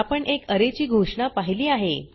आपण एक अरे ची घोषणा पहिली आहे